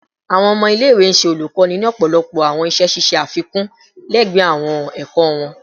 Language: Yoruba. Awọn ọmọ ile-iwe ṣe olukoni ni ọpọlọpọ awọn iṣẹ ṣiṣe afikun lẹgbẹẹ awọn ẹkọ wọn